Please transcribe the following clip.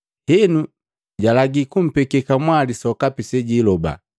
henu jalagi kumpeke kamwali sokapi sejiiloba.